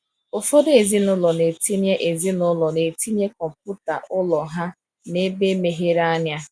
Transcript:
Ụfọdụ ezinụlọ na-etinye ezinụlọ na-etinye kọmputa ụlọ ha n’ebe meghere anya.